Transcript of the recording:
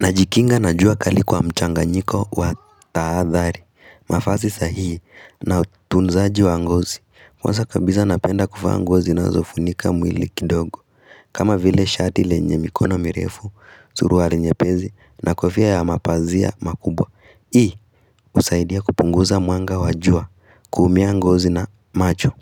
Najikinga na jua kali kwa mchanganyiko wa taadhari, mavazi sahihi, na utunzaji wa ngozi, kwanza kabisa napenda kuvaa nguo zinazofunika mwili kidogo, kama vile shati lenye mikono mirefu, suruali nyepesi, na kofia ya mapazia makubwa, ii, husaidia kupunguza mwanga wa jua, kuumia ngozi na macho